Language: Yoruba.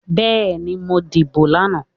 Bẹ́ẹ́ni, mo dìbò lánàá.